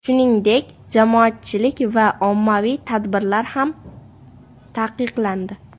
Shuningdek, jamoatchilik va ommaviy tadbirlar ham taqiqlandi.